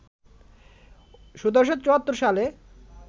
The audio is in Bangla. ১৭৭৪ সালে